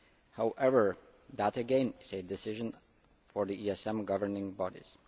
However, that again is a decision for the ESM governing bodies.